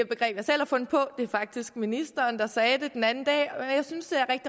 begreb jeg selv har fundet på det er faktisk ministeren der sagde det den anden dag og jeg synes det er